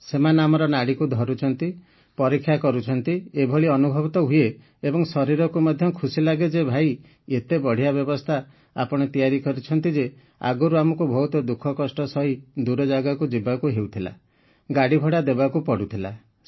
ସେମାନେ ଆମର ନାଡିକୁ ଧରୁଛନ୍ତି ପରୀକ୍ଷା କରୁଛନ୍ତି ଏଭଳି ଅନୁଭବ ତ ହୁଏ ଏବଂ ଶରୀରକୁ ମଧ୍ୟ ଖୁସି ଲାଗେ ଯେ ଭାଇ ଏତେ ବଢ଼ିଆ ବ୍ୟବସ୍ଥା ଆପଣ ତିଆରିଛନ୍ତି ଯେ ଆଗରୁ ଆମକୁ ବହୁତ ଦୁଃଖ କଷ୍ଟ ସହି ଦୂର ଜାଗାକୁ ଯିବାକୁ ହେଉଥିଲା ଗାଡିଭଡା ଦେବାକୁ ପଡୁଥିଲା